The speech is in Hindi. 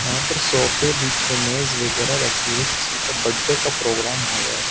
यहां पर सोफे बीच में मेज वगैरह रखी है किसी का बर्थडे का प्रोग्राम हो रहा है।